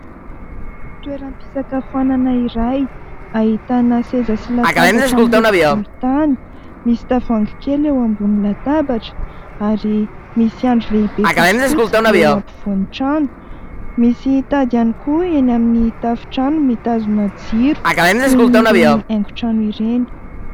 Toeram-pisakafoanana iray ahitana seza sy latabatra miloko volontany. Misy tavoahangy kely eo ambony latabatra ary misy andry lehibe fotsifotsy eo ampovoan'ny trano. Misy tady ihany koa eny amin'ny tafontrano mitazona jiro toy ireny haingotrano ireny.